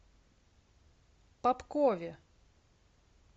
попкове